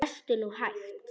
Lestu nú hægt!